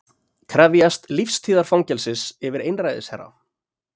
Krefjast lífstíðarfangelsis yfir einræðisherra